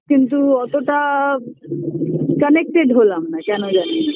কিন্তু অতটা connected হলাম না কেন জানিনা